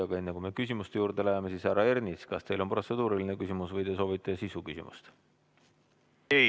Aga enne, kui me küsimuste juurde läheme, härra Ernits, kas teil on protseduuriline küsimus või soovite sisuküsimust?